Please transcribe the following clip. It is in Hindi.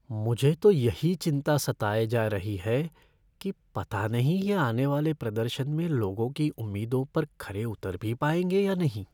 मुझे तो यही चिंता सताए जा रही है कि पता नहीं ये आने वाले प्रदर्शन में लोगों की उम्मीदों पर खरे उतर भी पाएंगे या नहीं।